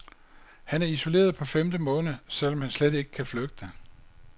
Han er isoleret på femte måned, selv om han slet ikke kan flygte.